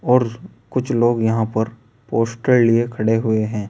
और कुछ लोग यहां पर पोस्टर लिए खड़े हुए हैं।